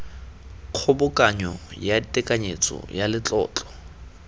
kgobokanyo ya tekanyetso ya letlotlo